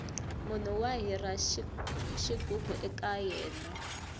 munhu wa hira xighubu ekaya ka yena